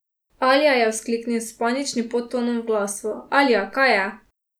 Alja, je vzkliknil s paničnim podtonom v glasu, Alja, kaj je?